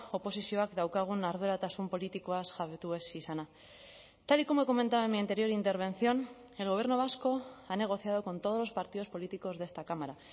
oposizioak daukagun arduratasun politikoaz jabetu ez izana tal y como he comentado en mi anterior intervención el gobierno vasco ha negociado con todos los partidos políticos de esta cámara